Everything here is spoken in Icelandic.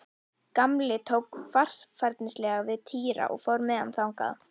Gamli tók varfærnislega við Týra og fór með hann þangað.